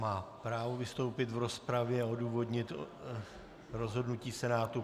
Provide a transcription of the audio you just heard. Má právo vystoupit v rozpravě a odůvodnit rozhodnutí Senátu.